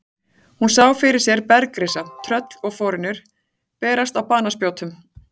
Hún sá fyrir sér bergrisa, tröll og forynjur berast á banaspjótum.